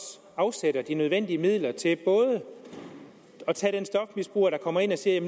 afsætter de nødvendige midler til at tage den stofmisbruger der kommer ind og siger at